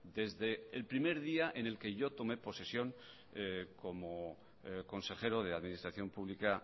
desde el primer día en el que yo tomé posesión como consejero de administración pública